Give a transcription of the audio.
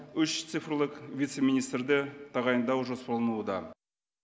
үш цифрлық вице министрді тағайындау жоспарлануда